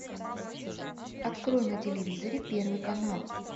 открой на телевизоре первый канал